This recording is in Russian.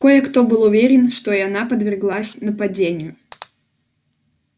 кое-кто был уверен что и она подверглась нападению